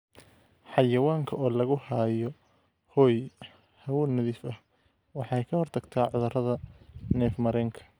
Xayawaanka oo lagu haayo hoy hawo nadiif ah waxay ka hortagtaa cudurrada neef-mareenka.